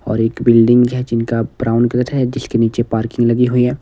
और एक बिल्डिंग है जिनका ब्राउन कलर है जिसके नीचे पार्किंग लगी हुई है।